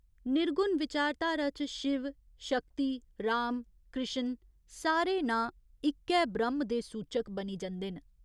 निर्गुण विचारधारा च शिव, शक्ति, राम, कृश्ण सारे नांऽ इक्कै ब्रह्‌म दे सूचक बनी जंदे न।